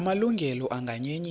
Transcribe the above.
la malungelo anganyenyiswa